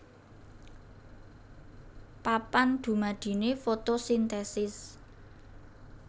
Papan dumadiné fotosintesis